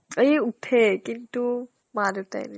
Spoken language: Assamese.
এই ওঠে কিন্তু মা দেউতাই নিদিয়ে